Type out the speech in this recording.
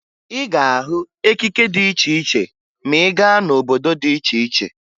Ị ga-ahụ ekike dị iche iche ma ị gaa n'obodo dị iche iche